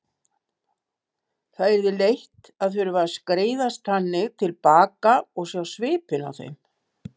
Það yrði leitt að þurfa að skreiðast þannig til baka og sjá svipinn á þeim.